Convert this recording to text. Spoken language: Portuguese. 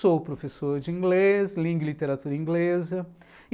Sou professor de inglês, lingua e literatura inglesa.